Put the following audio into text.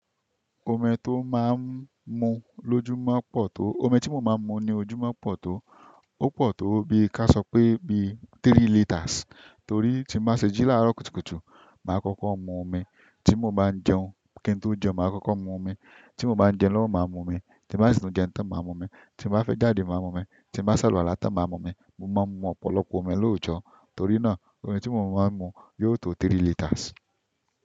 Omi tó máa n mu ló júmọ̀ pọ̀ tó, omi tí mo máa ń mu ní ojúmọ́ pọ̀ tó, ó pọ̀ tó bí ká sọ pé bí three liters. Torí tí máa ṣe jí láàárọ̀ kùtùkùtù, mà á kọ́kọ́ mu omi. Ti mo ba n jẹun, kin to jẹun ma koko mu omi. Tí mo bá ń jẹ lọ́wọ́, mà á mu omi. Tí bàá sì tún jẹ tán, mà á mu omi. Tí màá fẹ́ jáde, mà á mu omi. Tí uàá sàlọ̀wàlá tàn, mà á mu omi. Mo máa ń mu ọ̀pọ̀lọpọ̀ omi lóojọ. Torí náà omi tí mo máa ń mu yóò tó three liters.